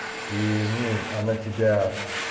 ну она тебя